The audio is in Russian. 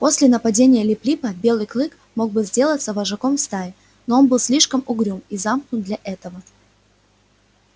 после нападения лип липа белый клык мог бы сделаться вожаком стаи но он был слишком угрюм и замкнут для этого